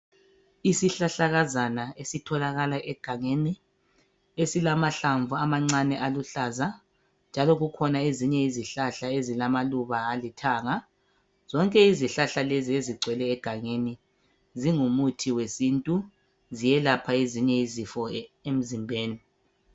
Isihlahlakazana esitholakala egangeni esilamahlamvu amancane aluhlaza njalo kukhona ezinye izihlahla ezilamaluba alithanga. Zonke izihlahla lezi ezigcwele egangeni zingumuthi wesintu ziyelapha ezinye izifo emzimbeni.